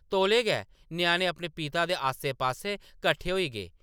तौले गै, ञ्याणें अपने पिता दे आस्सै-पास्सै कट्ठे होई गे ।